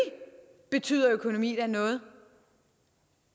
betyder økonomi da noget